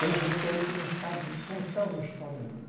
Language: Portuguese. Tem gente aí que não sabe contar uma história dessa.